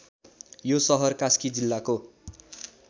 यो सहर कास्की जिल्लाको